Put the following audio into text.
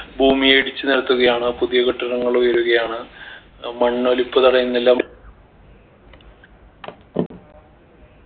ഭൂമിയെ ഇടിച്ചു നിരത്തുകയാണ് പുതിയ കെട്ടിടങ്ങളുയരുകയാണ് ഏർ മണ്ണൊലിപ്പ് തടയുന്നില്ല